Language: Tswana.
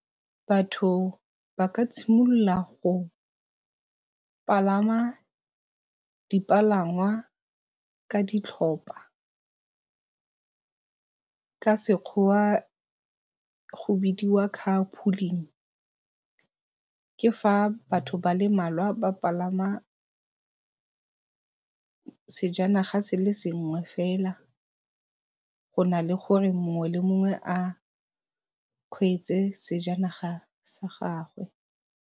Batho ba ka simolola go palama dipalangwa ka ditlhopha ka Sekgowa go bidiwa car pulling ke fa batho ba le mmalwa ba palama sejanaga se le sengwe fela, go na le gore mongwe le mongwe a kgweetse sejanaga sa gage.